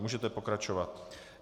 Můžeme pokračovat.